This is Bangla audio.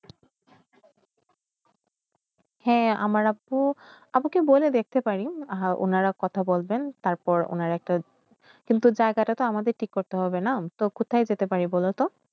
হয়ে আমারা আবকে বলতে দেখতে পারি আর উনারা কথা বলবেন উনারা একটা কিন্তু টাকাটা আমারা দিতে হবে না কোথায় যাতে পারি বল তো